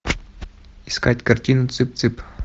искать картину цып цып